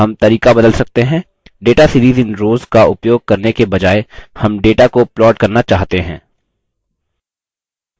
हम तरीका बदल सकते हैं data series in rows का उपयोग करने के बजाय हम data को plot करना चाहते हैं